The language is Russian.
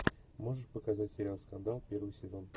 можешь показать сериал скандал первый сезон